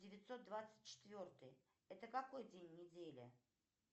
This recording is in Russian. девятьсот двадцать четвертый это какой день недели